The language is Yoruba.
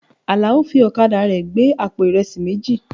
Àlàó fi ọ̀kadà rẹ̀ gbé àpò ìrẹsì méjì.